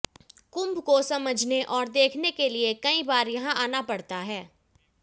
कुंभ को समझने और देखने के लिए कई बार यहां आना पड़ता है